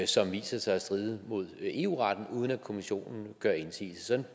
som viser sig at stride imod eu retten uden at kommissionen gør indsigelse